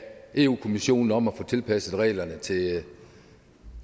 europa kommissionen om at få tilpasset reglerne til